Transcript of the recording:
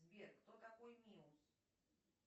сбер кто такой миус